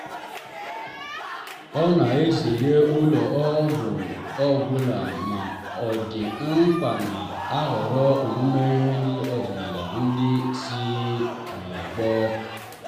ọ na-ezere ụlọ ọgwụ ọ gwụla ma ọ dị mkpa na-ahọrọ omume ọdịnala ndị si n'ọgbọ.